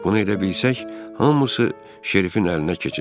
Bunu edə bilsək hamısı Şerifin əlinə keçəcək.